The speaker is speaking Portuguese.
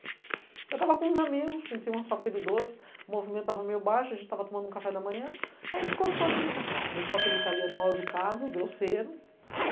Eu estava com uns amigos, a gente tinha uma fábrica de doce, o movimento estava meio baixo, a gente estava tomando um café da manhã, aí encostou aquele carro lá, deixou aquele italiano mal-educado, grosseiro.